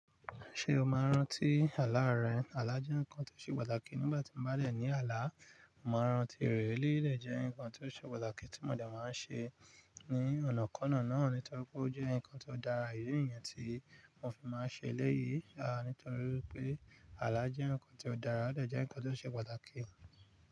Ṣé o máa ń rántí àlá rẹ? Àlá jẹ́ nǹkan tó ṣe pàtàkì nígbà tí mo bá dẹ̀ ní àlá. Mo máa ń rántí rẹ̀ eléyìí, dẹ̀ jẹ́ ǹkan tó ṣe pàtàkì tí mo dẹ̀ máa ń ṣe ní ọ̀nà kànnà náà, nítorí pé ó jẹ́ ǹkan tó dára, idi niyẹn tí mo fi máa ń ṣe eléyìí, à nítorí pé àlá jẹ́ ǹkan tó dára, ó dà jẹ́ ǹkan tó ṣe pàtàkì.